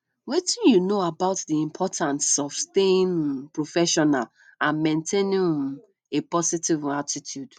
wetin you know about di importance of staying um professional and maintaining um a positive um attitude